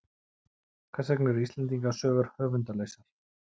Hvers vegna eru Íslendingasögur höfundarlausar?